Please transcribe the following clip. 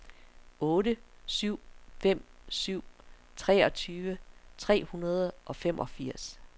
otte syv fem syv treogtyve tre hundrede og femogfirs